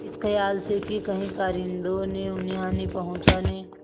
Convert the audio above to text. इस खयाल से कि कहीं कारिंदों ने उन्हें हानि पहुँचाने